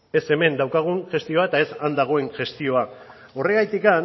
ez hemen daukagun gestioa eta ez han dagoen gestioa horregatik